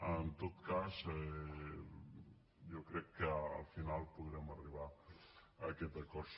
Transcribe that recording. en tot cas jo crec que al final podrem arribar a aquest acord